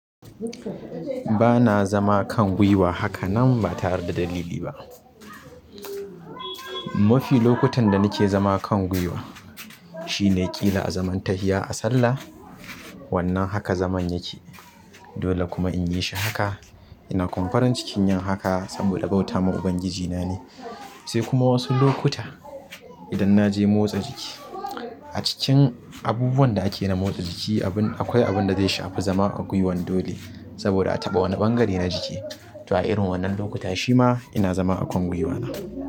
Ba na zama kan gwiwa haka nan ba tare da dalili ba. Mafi lokutan da nake zama kan gwiwa shine ƙila a zaman tahiya a sallah. Wannan haka zaman yake. Dole kuma in yi shi haka. Ina kuma farin cikin yin haka saboda bautama Ubangiji na ne. Sai kuma wasu lokuta idan na je motsa jiki a cikin abubuwan da ake na motsa jiki abun akwai abun da zai shafi zama a gwiwan dole saboda a taɓa wani ɓangare na jiki. To a irin wannan lokuta shi ma ina zama a kan gwiwana.